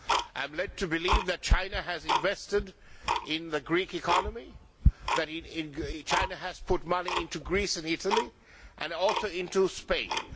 I am led to believe that China has invested in the Greek economy, that China has put money into Greece and Italy, and also into Spain.